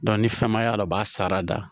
ni fɛn ma y'a la o b'a sara da